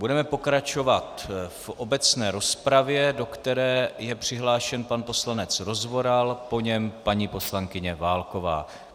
Budeme pokračovat v obecné rozpravě, do které je přihlášen pan poslanec Rozvoral, po něm paní poslankyně Válková.